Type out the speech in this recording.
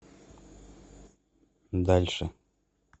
дальше